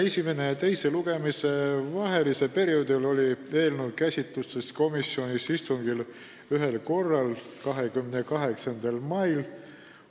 Esimese ja teise lugemise vahelisel perioodil käsitles komisjon eelnõu ühel korral, 28. mai istungil.